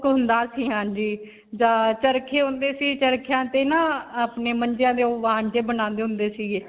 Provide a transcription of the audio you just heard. ਹੁੰਦਾ ਸੀ. ਹਾਂਜੀ. ਜਾਂ ਚਰਖੇ ਹੁੰਦੇ ਸੀ. ਚਰਖਿਆਂ ਤੇ ਨਾ ਅਪਨੇ ਮੰਜੀਆਂ ਦੇ ਨਾ ਓਹ ਵਾਨ ਜਿਹੇ ਬਣਾਉਂਦੇ ਹੁੰਦੇ ਸੀਗੇ.